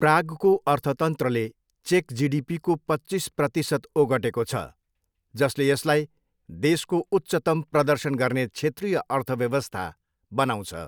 प्रागको अर्थतन्त्रले चेक जिडिपीको पच्चिस प्रतिसत ओगटेको छ, जसले यसलाई देशको उच्चतम प्रदर्शन गर्ने क्षेत्रीय अर्थव्यवस्था बनाउँछ।